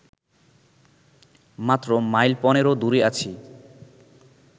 মাত্র মাইল পনেরো দূরে আছি